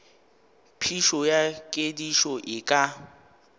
phišo ya kedišo e ka